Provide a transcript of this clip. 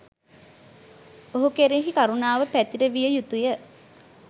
ඔහු කෙරෙහි කරුණාව පැතිරවිය යුතු ය.